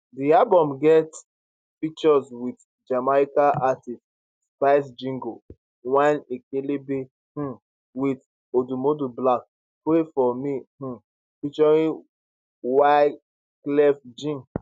di album get features wit jamaican artiste spice jiggle whine ekelebe um wit oudumoudu black pray for me um ft wyclef jean